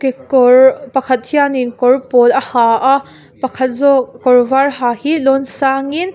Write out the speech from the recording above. kekawr pakhat hianin kawr pawl a ha a pakhat zawk kawr var ha hi lawn sangin.